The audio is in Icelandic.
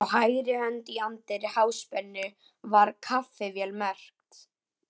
Á hægri hönd í anddyri Háspennu var kaffivél merkt